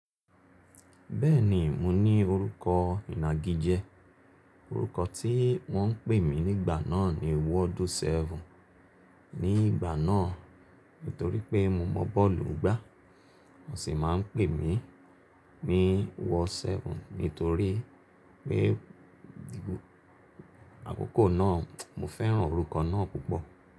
Bẹ́ẹ̀ni, mo ní orúkọ ìnagijẹ. Orúkọ tí wọ́n ń pè mí nígbà náà ni Ward 7. Ní ìgbà náà nítorí pé mo mọ bọ́ọ̀lù gbá, wọ́n sì máa ń pè mí ní Ward 7 nítorí pé àkókò náà mo fẹ́ràn orúkọ náà púpọ̀.